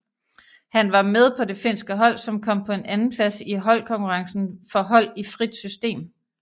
Han var med på det finske hold som kom på en andenplads i holdkonkurrencen for hold i frit system